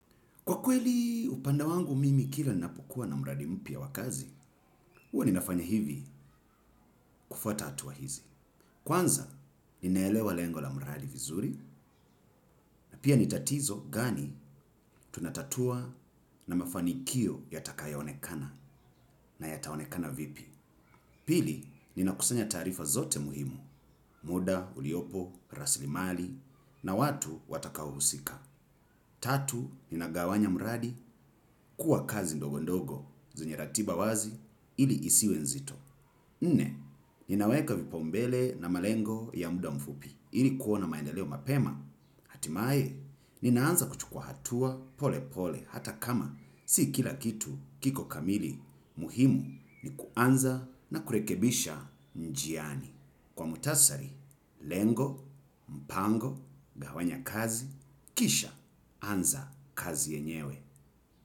Kwa kweli upande wangu mimi kila napokua na mradi mpya wakazi, uwa ninafanya hivi kufuata hatua hizi. Kwanza, ninaelewa lengo la mradi vizuri, na pia nitatizo gani tunatatua na mafanikio yatakayonekana na yataonekana vipi. Pili, nina kusanya tarifa zote muhimu, muda, uliopo, raslimali, na watu watakaousika. Tatu, nina gawanya mradi, kuwa kazi ndogo ndogo, zenye ratiba wazi, ili isiwe nzito. Nne, ninaweka vipombele na malengo ya muda mfupi, ili kuona maendeleo mapema, hatimae, ninaanza kuchukua hatua pole pole, hata kama, si kila kitu kiko kamili, muhimu ni kuanza na kurekebisha njiani. Kwa mutasari, lengo, mpango, gawanya kazi, kisha, anza kazi yenyewe.